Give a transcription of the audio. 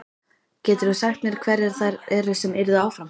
Geturðu sagt mér hverjar þær eru sem yrðu áfram?